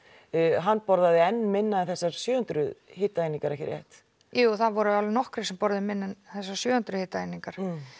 hann borðaði mun minna en þessar sjö hundruð hitaeiningar ekki satt jú það voru alveg nokkrir sem borðuðu minna en þessar sjö hundruð hitaeiningar